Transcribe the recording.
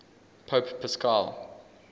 pope paschal